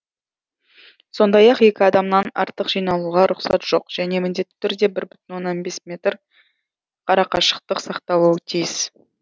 сондай ақ екі адамнан артық жиналуға рұқсат жоқ және міндетті түрде бір бүтін оннан бес метр арақашықтық сақталуы тиіс